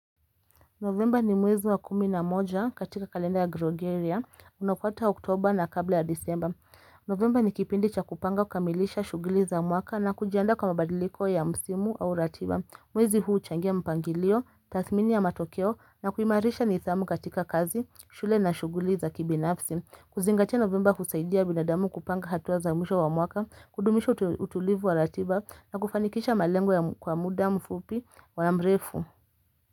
Novemba ni mwezi wa kumi na moja katika kalenda ya Grogeria, unafuata oktoba na kabla ya disemba. Novemba ni kipindi cha kupanga kukamilisha shughuli za mwaka na kujiandaa kwa mabadiliko ya msimu au ratiba. Mwezi huu huchangia mpangilio, tathmini ya matokeo na kuimarisha nidhamu katika kazi, shule na shughuli za kibinafsi. Kuzingatia novemba husaidia binadamu kupanga hatua za mwisho wa mwaka, kudumisha utulivu wa ratiba na kufanikisha malengo kwa muda mfupi wa mrefu.